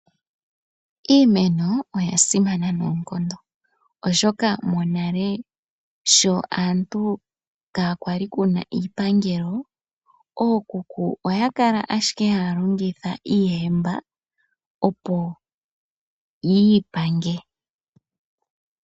Iimeno oya simana noonkondo, oshoka monale sho aantu kaa kwa li Kuna iipangelo, ookuku oya kala owala ha ya longitha iihemba opo yi ipange.